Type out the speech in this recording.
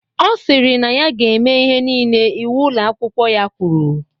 Ọ sịrị na ya ga-eme ihe niile iwu Ụlọ akwụkwọ ha kwuru.